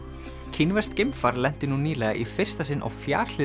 kínverskt geimfar lenti nú nýlega í fyrsta sinn á